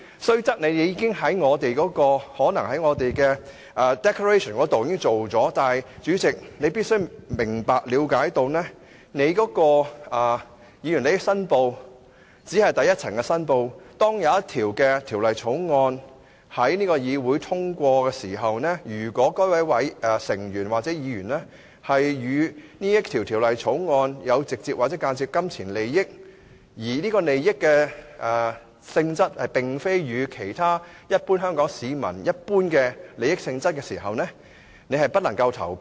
雖則你可能在立法會的 declaration 中作出了申報，但主席你必須明白、了解，議員申報利益只是作出第一層申報，當一項條例草案要在議會通過時，如果某位議員與該項條例草案有直接或間接的金錢利益，而該利益與一般香港市民的利益並不一致時，他便不能投票。